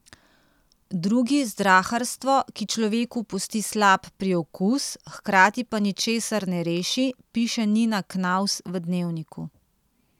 Drugi zdraharstvo, ki človeku pusti slab priokus, hkrati pa ničesar ne reši, piše Nina Knavs v Dnevniku.